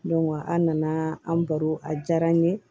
an nana an baro a diyara an ye